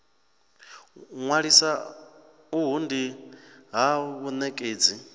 ṅwalisa uhu ndi ha vhanekedzi